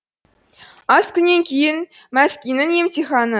аз күннен кейін мескиннің емтиханы